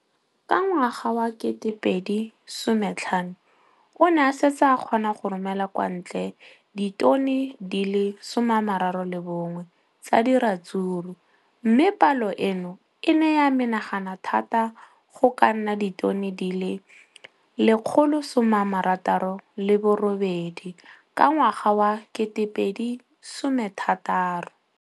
Ka ngwaga wa 2015, o ne a setse a kgona go romela kwa ntle ditone di le 31 tsa ratsuru mme palo eno e ne ya menagana thata go ka nna ditone di le 168 ka ngwaga wa 2016.